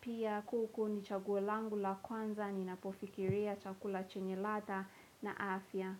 Pia kuku ni chaguo langu la kwanza ni napofikiria chakula chenye ladha na afya.